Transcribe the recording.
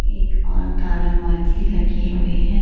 एक और तारा-माची लगी हुई है।